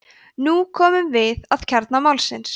nú komum við að kjarna málsins